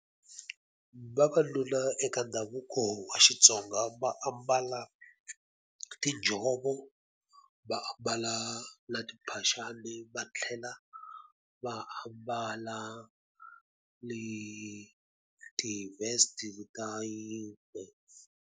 Vavanuna eka ndhavuko wa Xitsonga va ambala tinjhovo, va ambala na timphaxani, va tlhela va ambala ni ti-vest ta yingwe.